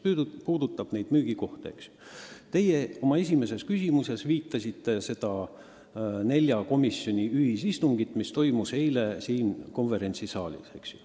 Kui rääkida müügikohtadest, siis te oma esimeses küsimuses viitasite nelja komisjoni ühisistungile, mis toimus eile siin konverentsisaalis.